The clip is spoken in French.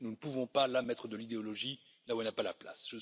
Nous ne pouvons pas mettre de l'idéologie là où elle n'a pas sa place.